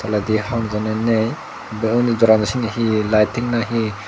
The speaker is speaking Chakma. tolendi honojone nei te undi doorano sindi hee lighting na he.